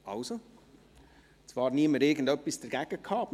Jakob Etter für die BDP.